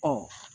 Ɔ